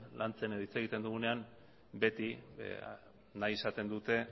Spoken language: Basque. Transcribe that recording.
lantzen edo hitz egiten dugunean beti nahi izaten dute